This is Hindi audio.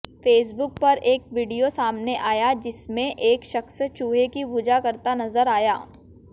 फेसबुक पर एक वीडियो सामने आया जिसमें एक शख्स चूहे की पूजा करता नजर आया